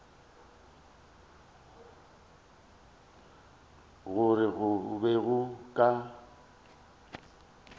gore go be go ka